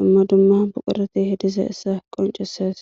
dumma dumma buqureti hidiza essa qoncesees